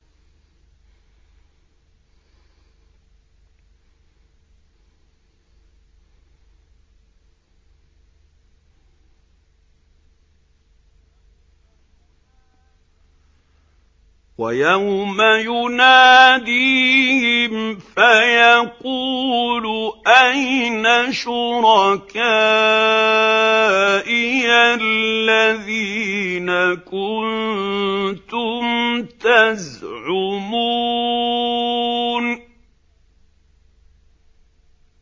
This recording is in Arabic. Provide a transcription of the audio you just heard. وَيَوْمَ يُنَادِيهِمْ فَيَقُولُ أَيْنَ شُرَكَائِيَ الَّذِينَ كُنتُمْ تَزْعُمُونَ